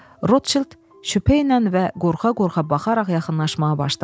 Rotşild şübhə ilə və qorxa-qorqa baxaraq yaxınlaşmağa başladı.